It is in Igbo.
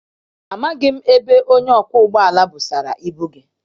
Amaghị m ebe onye ọkwọ ụgbọala busara ibu gị.